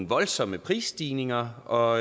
voldsomme prisstigninger og